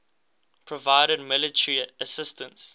provided military assistance